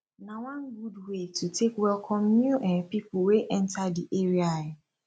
na one gud way to take welcom new um pipo wey enta di area um